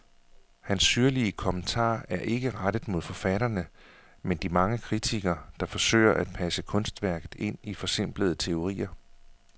Hans syrlige kommentarer er ikke rettet mod forfatterne, men de mange kritikere, der forsøger at passe kunstværket ind i forsimplende teorier.